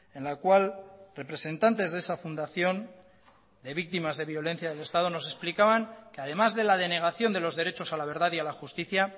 en la cual representantes de esa fundación de víctimas de violencia de estado nos explicaban que además de la denegación de los derechos a la verdad y a la justicia